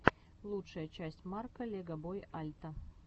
лучшая часть марка легобой альта